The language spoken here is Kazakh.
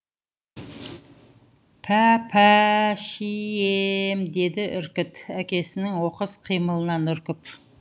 пәпә ә ә шие е ем деді іркіт әкесінің оқыс қимылынан үркіп